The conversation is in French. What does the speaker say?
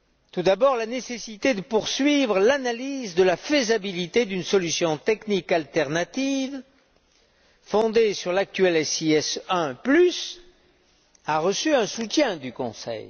Tout d'abord, la nécessité de poursuivre l'analyse de la faisabilité d'une solution technique alternative fondée sur l'actuel SIS I a reçu un soutien de la part du Conseil.